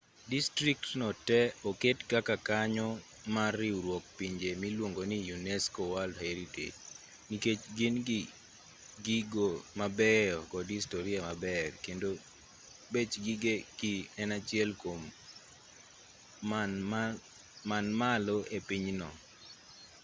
distriktno te oket kaka kanyo mar riwruok pinje miluongo-ni unesco world heritage nikech gin-gi gigo mabeyo kod historia maber kendo bech gigegi en achiel kuom man malo e pinyno